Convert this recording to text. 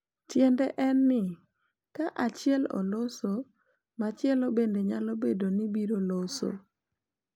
Tiende en ni, ka achiel oloso, machielo bende nyalo bedo ni obiro loso.